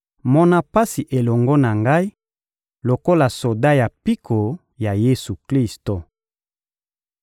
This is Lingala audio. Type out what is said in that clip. Mona pasi elongo na ngai lokola soda ya mpiko ya Yesu-Klisto.